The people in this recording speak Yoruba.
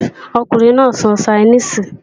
Ọkùnrin náà ń sọ Ṣainíìsì